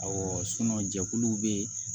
Awɔ jɛkuluw bɛ